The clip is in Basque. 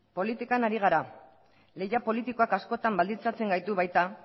politikan ari gara lehia politikoak askotan baldintzatzen gaitu baita